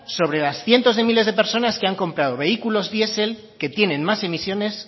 sobre los cientos de miles de personas que han comprado vehículos diesel que tienen más emisiones